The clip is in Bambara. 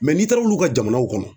n'i taara olu ka jamanaw kɔnɔ